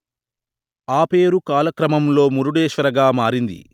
ఆపేరు కాలక్రమంలో మురుడేశ్వర గా మారింది